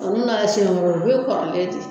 u bɛ kɔrɔlen de